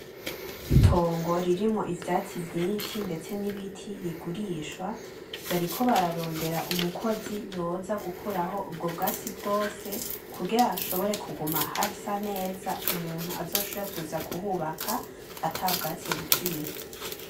Itongo ririmwo ivyatsi vyinshi ndetse n'ibiti rigurishwa, bariko bararondera mukozi yoza gukuraho ubwo bwatsi bwose kugira bashobore kuguma hasa neza umuntu azoshobore kuza kuhubaka ata bwatsi bukiriho.